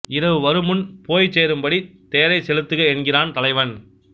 இரவு வருமுன் போய்ச் சேரும்படி தேரைச் செலுத்துக என்கிறான் தலைவன்